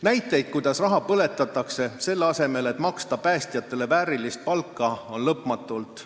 Näiteid, kuidas raha põletatakse, selle asemel et maksta päästjatele väärilist palka, on lõpmatult.